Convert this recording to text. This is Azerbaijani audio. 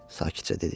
Sakitcə dedi.